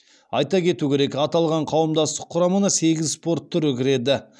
айта кету керек аталған қауымдастық құрамына сегіз спорт түрі кіреді